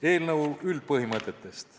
Eelnõu üldpõhimõtetest.